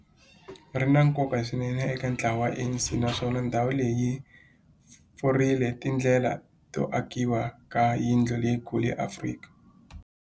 ri na nkoka swinene eka ntlawa wa ANC, naswona ndhawu leyi yi pfurile tindlela to akiwa ka yindlu leyikulu ya Afrika